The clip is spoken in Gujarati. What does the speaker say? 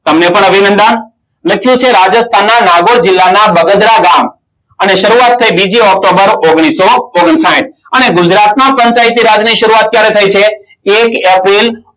તમને પણ અભિનંદન. લખ્યું છે, રાજસ્થાનમાં નાગર જિલ્લાના બગદરા ગામમાં અને શરૂઆત થઈ બીજી ઓક્ટોબર ઓગણીસો ઓગણસાહિથ અને ગુજરાતમાં પંચાયતી રાજની શરૂઆત ક્યારે થઈ છે? એક એપ્રિલ